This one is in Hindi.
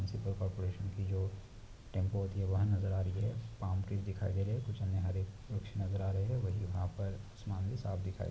मुनसीपल कॉर्पोरेशन की जो टेम्पो होती है वहा नज़र आ रही है पाल्म ट्री दिखाई दे रहे है कुछ हरे वृक्ष नज़र आ रहे है वही-वहा पर आसमान भी साफ दिखाई --